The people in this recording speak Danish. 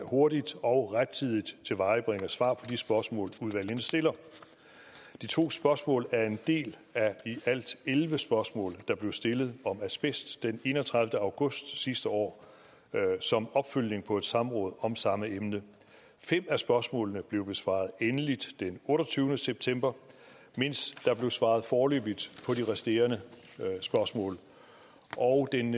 hurtigt og rettidigt tilvejebringer svar på de spørgsmål udvalgene stiller de to spørgsmål er en del af i alt elleve spørgsmål der blev stillet om asbest den enogtredivete august sidste år som opfølgning på et samråd om samme emne fem af spørgsmålene blev besvaret endeligt den otteogtyvende september mens der blev svaret foreløbigt på de resterende spørgsmål og den